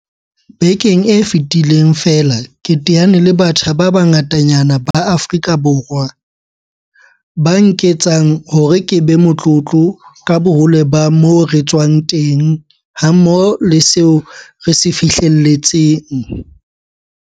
Bekeng e fetileng feela ke teane le batjha ba bangatanyana ba Aforika Borwa, ba nketsang hore ke be motlotlo ka bohole ba moo re tswang teng hammoho le seo re se fihlelletseng.